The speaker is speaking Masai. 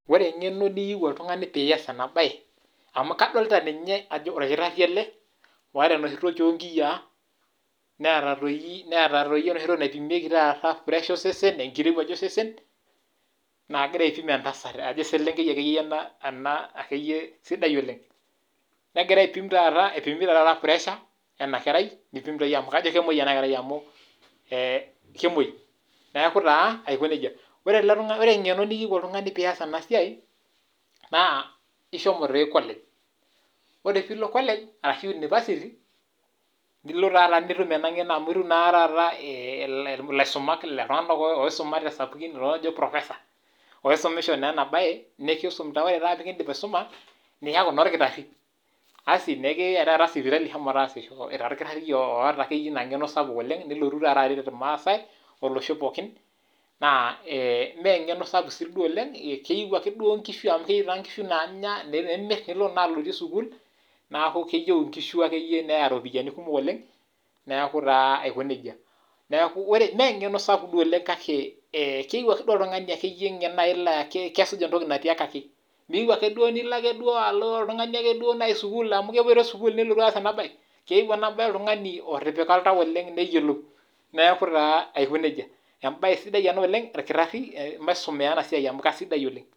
Ore engeno niyeu oltungani pee iyas ena bae, amu kadolita ninye ajo orkitari ele oota enoshi toki onkiyia neeta doi taata enoshi toki naipimieke pressure osesen enkirowaj osesen naa kegira aipin entasat kajo akeyie eselenkei akeyie ena sidai oleng, negira aipim taata egira aipim pressure ena kerai neipim doi taata amu kemoi naaku taa aoki nejia ,ore engeno niyeu oltungani pee iyas ena siai, naa ishomo doi college ore pee ilo college orashu university nilo taata nitum ena ngeno amu ilo taata nitum kulo tunganak oisumate sapukin oji professor oisumisho tee ena bae ore pee kindip aisuma niyaku taa orkitari asi nikiyae taata sipitali shomo taasisho itaa orkitari oota akeyie ina ngeno sapuk oleng, nilotu taata aret irmaasai olosho pookin, naa mee engeno siduo sapuk oleng naa keyiu inkishu naanya nimir alotie sukul neeku keyiu inkishu akeyie neya ropiani kumok oleng neeku taa aiko nejia, neeku mee engeno duo sapuk kake keyeu akeyie oltungani naaji ngen laa kesuj entoki natiakaki ,meyieu duo naji nilo ake oltungani amu kepwoitoi sukul nilotu aas ena bae ,keyeu ena bae oltungani otipika oltau neyiolou ,neeku taa Aiko nejia embae sidai ena oleng orkitari maisumea ena siai amu keisidai oleng.